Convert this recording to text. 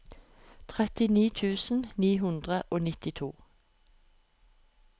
trettini tusen ni hundre og nittito